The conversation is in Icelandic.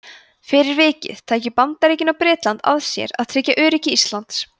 fyrir vikið tækju bandaríkin og bretland að sér að tryggja öryggi íslands